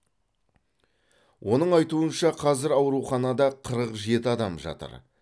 оның айтуынша қазір ауруханада қырық жеті адам жатыр